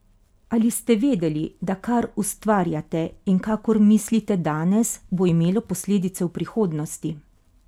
Ali ste vedeli da kar ustvarjate in kakor mislite danes, bo imelo posledice v prihodnosti?